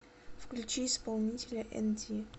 включи исполнителя энди